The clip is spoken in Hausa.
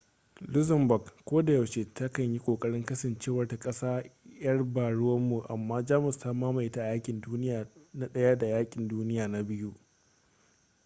luxembourg kodayaushe ta kan yi kokarin kasancewarta ƙasa 'yar ba-ruwanmu amma jamus ta mamaye ta a yaƙin duniya na ɗaya da yaƙin duniya na biyu